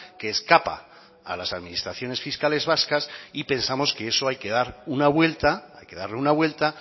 que escapa a las administraciones fiscales vascas y pensamos que eso hay que dar una vuelta hay que darle una vuelta